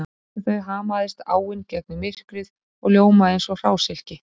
Bak við þau hamaðist áin gegnum myrkrið og ljómaði eins og hrásilki